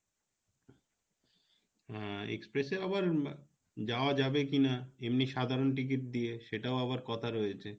হ্যাঁ express এ আবার যাওয়া যাবে কিনা এমনি সাধারণ ticket দিয়ে সেটাও আবার কথা রয়েছে